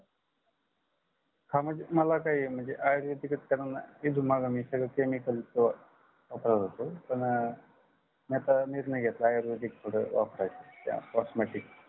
हा म्हणजे मला काही म्हणजेआयुर्वेदिक कडून इथून माग मी सगळं chemical च वापरत होतो पण मी आता निर्णय घेतला आयुर्वेदिक थोड वापरायचं त्यात cosmetic